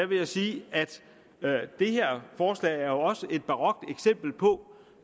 vil jeg sige at det her forslag også er et barokt eksempel på